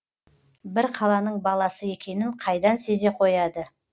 бір қаланың баласы екенін қайдан сезе қояды